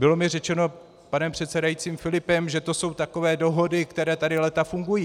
Bylo mi řečeno panem předsedajícím Filipem, že to jsou takové dohody, které tady léta fungují.